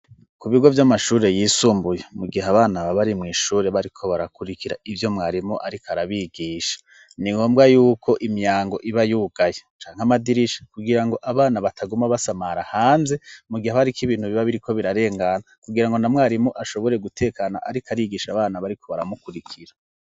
Ku bigo vy'amashuri yisumbuye, mu gihe abana babarimw'ishure bariko barakurikira ibyo mwarimu ariko arabigisha ni ngombwa yuko imyango iba yugaye canke amadirisha, kugira ngo abana bataguma basamara hanze mu gihe abariko ibintu biba biriko birarengana kugira ngo na mwarimu ashobore gutekana ariko arigisha abana bariko baramukurikira.